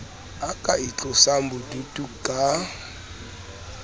a ka itlosang boduto ka